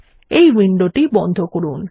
এই উইন্ডোটি বন্ধ করুন